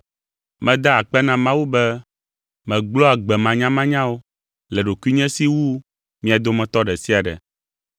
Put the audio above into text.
Meda akpe na Mawu be, “megblɔa gbe manyamanyawo” le ɖokuinye si wu mia dometɔ ɖe sia ɖe.